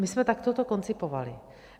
My jsme to takto koncipovali.